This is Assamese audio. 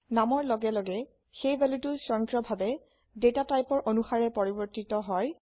নামৰ লগে লগে সেই ভ্যালুটো স্বয়ংক্ৰিয়ভাবে ডেটা টাইপৰ অনুসাৰে পৰিবৰ্তিত হয়